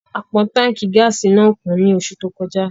A pọn Tánkì gáàsì náà kún ni oṣù tó kọjá